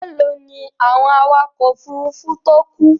Mélòó ni àwọn awakọ̀ òfurufú tó kú?